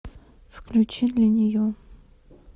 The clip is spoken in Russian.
включи для нее